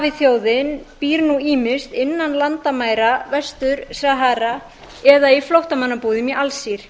sahrawi þjóðin býr nú ýmist innan landamæra vestur sahara eða í flóttamannabúðum í alsír